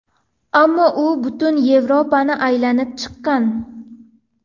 Ammo u butun Yevropani aylanib chiqqan.